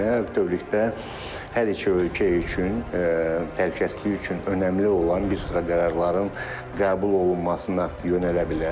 bütövlükdə hər iki ölkə üçün təhlükəsizlik üçün önəmli olan bir sıra qərarların qəbul olunmasına yönələ bilər.